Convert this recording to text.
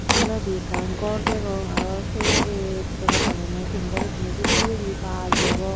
Sei toledi ekkan gor degong aro se ei potoka tangeyonde tengera bidire se bidirendi baj degong.